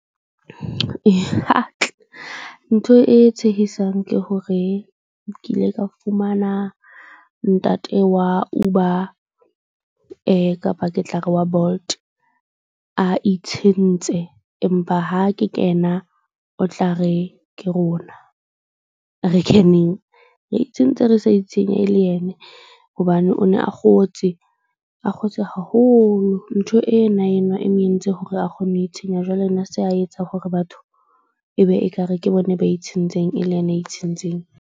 Ntho e tshehisang ke hore ke ile ka fumana ntate wa Uber kapa ke tla re wa Bolt a itshintse. Empa ha ke kena o tla re ke rona re keneng re itshentse, re sa itshenya e le yene. Hobane o ne a kgotse a kgotse haholo. Ntho ena enwa e mong e entse hore a kgone ho itshenya. Jwale na a se a etsang hore batho e be ekare ke bona ba e tshentseng e le ena a itshentseng.